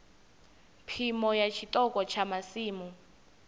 phimo ya tshiṱoko tsha masimu